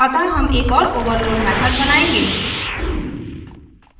अतः हम एक और overload method बनायेंगे